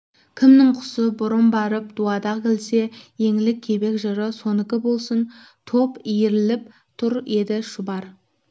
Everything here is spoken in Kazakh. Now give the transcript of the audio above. кімнің құсы бұрын барып дуадақ ілсе еңлік-кебек жыры сонікі болсын топ иіріліп тұр еді шұбар